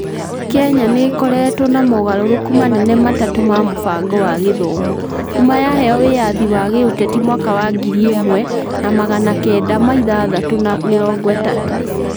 Kenya nĩ ĩkoretwo na mogarũrũku manene matatũ ma mũbango wa gĩthomo kuuma yaheo wĩyathi wa gĩũteti mwaka wa 1963.